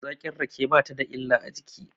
Zaƙin rake ba ta da illa a jiki.